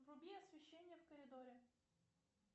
вруби освещение в коридоре